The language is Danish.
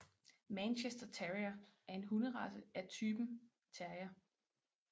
Manchester Terrier er en hunderace af typen terrier